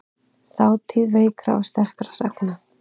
Þátíð veikra og sterkra sagna.